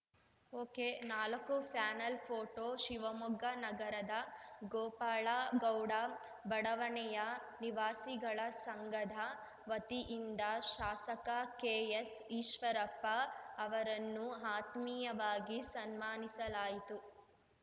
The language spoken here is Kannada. ಒಕೆ ನಾಲಕ್ಕುಪ್ಯಾನೆಲ್‌ ಫೋಟೋ ಶಿವಮೊಗ್ಗ ನಗರದ ಗೋಪಾಳ ಗೌಡ ಬಡವಣೆಯ ನಿವಾಸಿಗಳ ಸಂಘದ ವತಿಯಿಂದ ಶಾಸಕ ಕೆಎಸ್‌ಈಶ್ವರಪ್ಪ ಅವರನ್ನು ಆತ್ಮೀಯವಾಗಿ ಸನ್ಮಾನಿಸಲಾಯಿತು